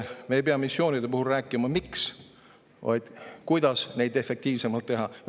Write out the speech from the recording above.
Me ei pea missioonide puhul rääkima sellest, miks midagi teha, vaid peame mõtlema, kuidas neid efektiivsemalt teha.